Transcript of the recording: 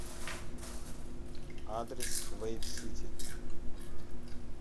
адрес вэйп сити